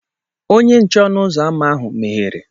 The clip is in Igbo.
Onye nche ọnụ ụzọ ámá ahụ meghere.